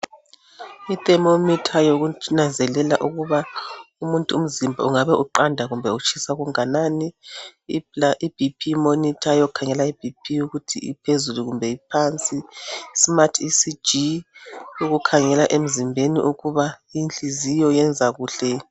I thermometer yokunanzela ukuba umuntu umzimba ungabe uqanda kumbe utshisa okungakanani.I B.P monitor eyokukhangela i B P ukuthi iphezulu kumbe iphansi, smart ecg okukhangela emzimbeni ukuba inhlinziyo iyenza kuhle.